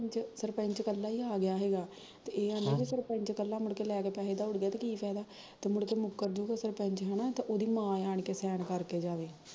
ਸਰਪੈਂਚ ਕਲਾ ਈ ਆ ਗਿਆ ਸੀਗਾ ਤੇ ਏਹ ਕਹਿੰਦੇ ਵੀ ਜੇ ਮੁੜ ਕੇ ਸਰਪੈਂਚ ਕੱਲਾ ਈ ਪੈਸੇ ਲੈ ਕੇ ਦੋੜ ਗਿਆ ਤੇ ਕੀ ਫ਼ੈਦਾ ਜੇ ਮੁਕਰਜੂਗਾ ਸੈਰਪੈਂਚ ਹੈਨਾ ਤੇ ਓਹਦੀ ਮਾਂ ਆਂ ਕੇ ਇੱਥੇ ਸੈਨ ਕਰਕੇ ਜਾਵੇ